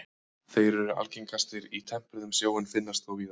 þeir eru algengastir í tempruðum sjó en finnast þó víðar